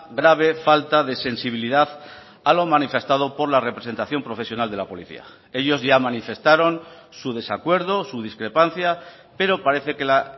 grave falta de sensibilidad a lo manifestado por la representación profesional de la policía ellos ya manifestaron su desacuerdo su discrepancia pero parece que la